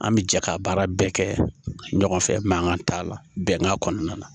An bɛ jɛ ka baara bɛɛ kɛ ɲɔgɔn fɛ mankan t'a la bɛnkan kɔnɔna na